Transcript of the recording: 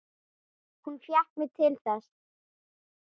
Hún fékk mig til þess!